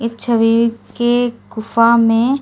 इच्छवे के गुफा में--